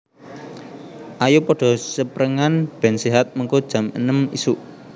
Ayo podo seprengan ben sehat mengko jam enem isuk